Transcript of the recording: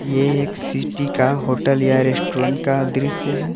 ये एक सिटी का होटल या रेस्टोरेंट का दृश्य है।